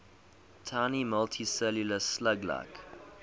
tiny multicellular slug like